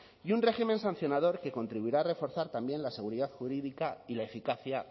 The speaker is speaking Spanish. y un régimen sancionador que contribuirá a reforzar también la seguridad jurídica y la eficacia